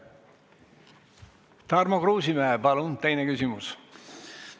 Tarmo Kruusimäe, palun teine küsimus!